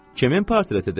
Kimin portretidir?